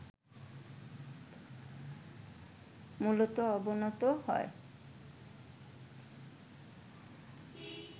মূলত অবনত হয়